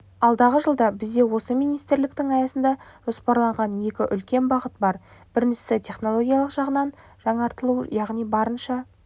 алдағы жылда бізде осы министрліктің аясында жоспарланған екі үлкен бағыт бар біріншісітехнологиялық жағынан жаңғыртылу яғни барынша